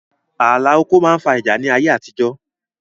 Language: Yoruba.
Ààlà oko máa ń fa ìjà ni ayé àtijọ́